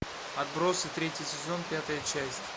отбросы третий сезон пятая часть